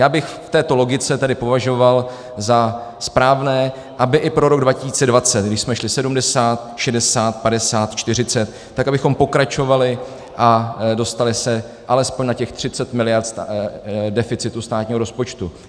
Já bych v této logice tedy považoval za správné, aby i pro rok 2020, když jsme šli 70, 60, 50, 40, tak abychom pokračovali a dostali se alespoň na těch 30 mld. deficitu státního rozpočtu.